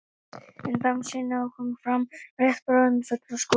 En bangsinn á að koma fram rétt bráðum í fullum skrúða.